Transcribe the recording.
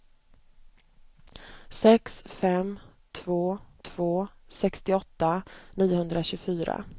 sex fem två två sextioåtta niohundratjugofyra